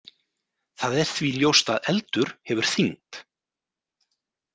Það er því ljóst að eldur hefur þyngd.